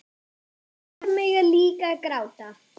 Pabbar mega líka gráta.